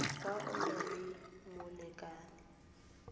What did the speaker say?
fa o na le molekane